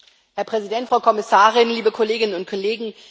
Herr Präsident, Frau Kommissarin, liebe Kolleginnen und Kollegen!